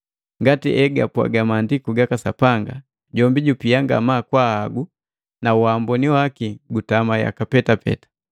Ngati egapwaaga Maandiku gaka Sapanga, “Jombi jupia ngamaa kwa ahagu, na waamboni waki gutama yaka petape.”